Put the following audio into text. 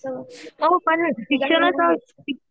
हो पण